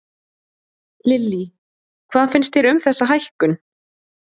Lillý: Hvað finnst þér um þessa hækkun?